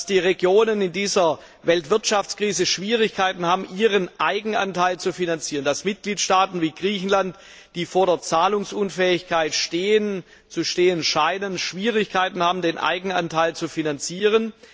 Dass die Regionen in dieser Weltwirtschaftskrise Schwierigkeiten haben, ihren Eigenanteil zu finanzieren, dass Mitgliedstaaten wie Griechenland, die vor der Zahlungsunfähigkeit zu stehen scheinen, Schwierigkeiten haben, den Eigenanteil zu finanzieren.